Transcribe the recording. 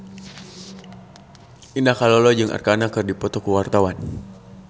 Indah Kalalo jeung Arkarna keur dipoto ku wartawan